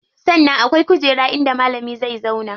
Sannan akwai kujera inda malami zai zauwa.